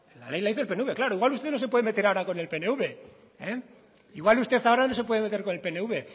la ley la hizo el pnv claro igual usted no se puede meter ahora con el pnv